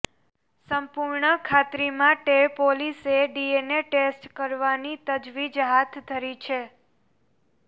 સંપૂર્ણ ખાત્રી માટે પોલીસે ડીએનએ ટેસ્ટ કરાવવાની તજવીજ હાથ ધરી છે